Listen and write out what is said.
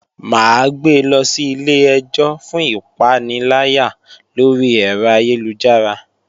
Mà á gbe lọ sí ilé-ẹjọ́ fún ìpaniláyà lórí ẹ̀rọ ayélujára